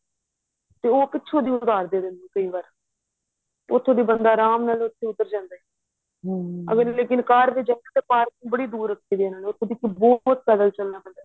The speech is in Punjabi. ਤੇ ਉਹ ਪਿਛੋਂ ਬਾੜ ਦਿੰਦੇ ਕਈ ਵਾਰ ਤੇ ਉਥੋ ਦੀ ਬੰਦਾ ਅਰਾਮ ਨਾਲ ਬੰਦਾ ਉਤਰ ਜਾਂਦਾ ਏ ਅਗ਼ਰ ਲੇਕਿਨ ਕਾਰ ਦੀ ਜਗਾਂ ਤੇ parking ਬੜੀ ਦੂਰ ਰੱਖੀ ਏ ਇਹਨਾ ਨੇ ਉਥੋ ਦੀ ਬਹੁਤ ਪੈਦਲ ਚੱਲਣਾ ਪੈਂਦਾ ਏ